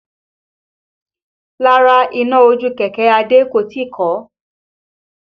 Rárá iná ojú kẹ̀kẹ́ Adé kò tíì kọ́